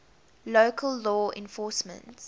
local law enforcement